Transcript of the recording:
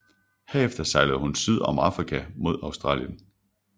Herefter sejlede hun syd om Afrika mod Australien